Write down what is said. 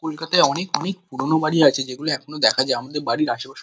কোলকাতায় অনেক অনেক পুরোনো বাড়ি আছে যেগুলো এখনো দেখা যায় আমাদের বাড়ির আশেপাশে।